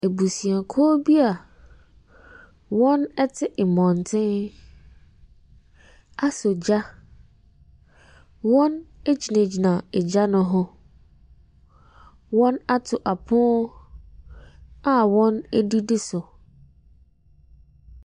Abusuakuo bi a wɔte mmɔntene asɔ gya. Wɔgyinagyina gya no ho. Wɔato apono a wɔdidi so.